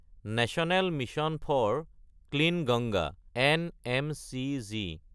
national Mission for Clean Ganga (NMCG)